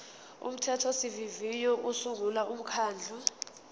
umthethosivivinyo usungula umkhandlu